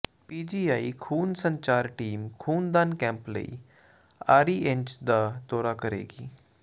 PGI ਖੂਨ ਸੰਚਾਰ team ਖੂਨਦਾਨ ਕੈਂਪ ਲਈ ਆਰੀਅਨਜ਼ ਦਾ ਦੌਰਾ ਕਰੇਗੀ